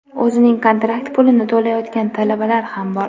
o‘zining kontrakt pulini to‘layotgan talabalar ham bor.